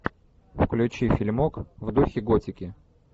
включи фильмок в духе готики